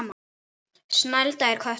Snælda er köttur